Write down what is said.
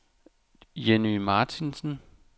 Jenny Martinsen